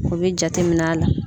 O bɛ jatemin'a la